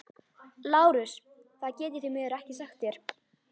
LÁRUS: Það get ég því miður ekki sagt þér.